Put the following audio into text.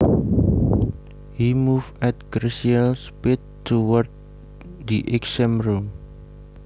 He moved at glacial speed towards the exam room